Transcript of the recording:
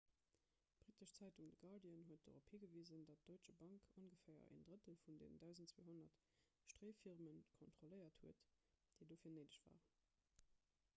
d'brittesch zeitung the guardian huet dorop higewisen datt d'deutsche bank ongeféier en drëttel vun den 1200 stréifirmen kontrolléiert huet déi dofir néideg waren